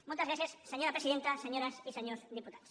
moltes gràcies senyora presidenta senyores i senyors diputats